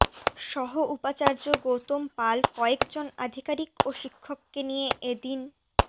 সহ উপাচার্য গৌতম পাল কয়েক জন আধিকারিক ও শিক্ষককে নিয়ে এ দিন